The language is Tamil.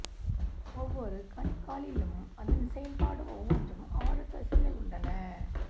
ஒவ்வொரு கணுக்காலிலும் அதன் செயல்பாடு ஒவ்வொன்றும் ஆறு தசைகள் உள்ளன